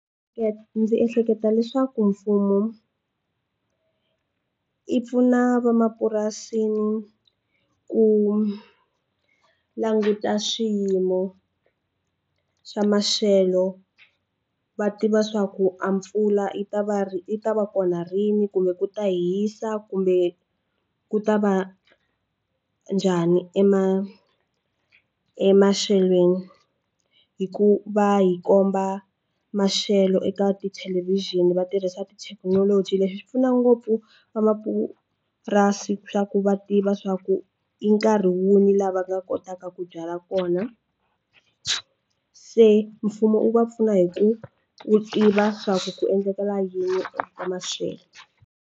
ndzi ehleketa leswaku mfumo i pfuna va mapurasi ku languta swiyimo xa maxelo va tiva swa ku a mpfula yi ta va yi ta va kona rini kumbe ku ta hisa kumbe ku ta va njhani ema emaxelweni hi ku va hi komba maxelo eka ti thelevixini va tirhisa tithekinoloji leswi swi pfuna ngopfu vamapurasi swa ku va tiva swa ku i nkarhi muni laha va nga kotaka ku byala kona se mfumo wu va pfuna hi ku wu tiva swa ku ku endlakala yini eka maxelo.